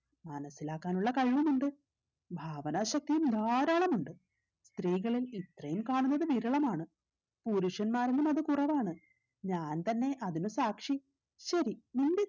മനസിലാക്കാനുള്ള കഴിവും ഉണ്ട് ഭാവന ശക്തിയും ധാരാളം ഉണ്ട് സ്ത്രീകളിൽ ഇത്രയും കാണുന്നത് വിരളമാണ് പുരുഷന്മാരിലും അത് കുറവാണ് ഞാൻ തന്നെ അതിന് സാക്ഷി ശരി നിന്റെ